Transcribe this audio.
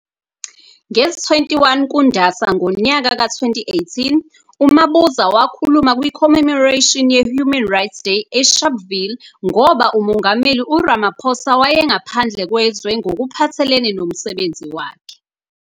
Ngezi 21 kuNdasa ngonyaka ka 2018, uMabuza wakhuluma kwi commemoration ye Human Rights Day eSharpeville ngoba uMongameli uRamaphosa wayengaphandle kwezwe ngokuphathelene nomusebenzi wakhe.